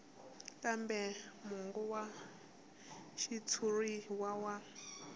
kambe mongo wa xitshuriwa wa